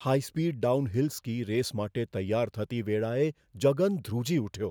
High speed downhill ski race માટે તૈયાર થતી વેળાએ જગન ધ્રુજી ઉઠ્યો.